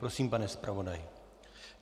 Prosím, pane zpravodaji.